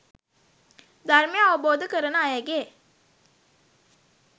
ධර්මය අවබෝධ කරන අයගේ